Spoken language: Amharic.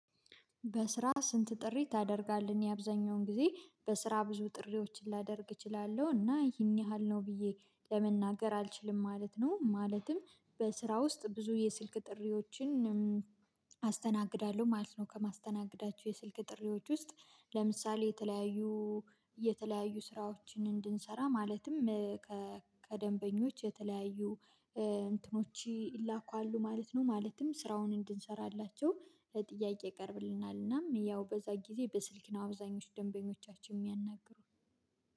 በስራ ስንት ጥሪ ታደርጋለህ? እኔ አብዛኛውን ጊዜ በስራ ብዙ ጥሪዎችን ላደርግ እችላለሁ እና ይሄን ያህል ነው ብዬ ለመናገር አልችልም ማለት ነው። ማለትም በስራ ውስጥ ብዙ የስልክ ጥሪዎችን አስተናግዳለሁ ማለት ነው። ከማስተናገዳቸው የስልክ ጥሪዎች ውስጥ ለምሳሌ የተለያዩ የተለያዩ ስራዎችን እንድንሰራ ማለትም ከደንበኞች የተለያዩ እንትኖች ይላኩ አሉ ማለት ነው። ማለትም ስራውን እንድንሰራላቸው ጥያቄ ይቀርብልናል። እናም ያው በዛ ጊዜ በስልክ ነው አብዛኞቹ ደንበኞቻችን የሚያናግሩት